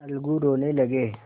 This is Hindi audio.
अलगू रोने लगे